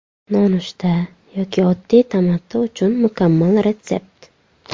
Nonushta yoki oddiy tamaddi uchun mukammal retsept.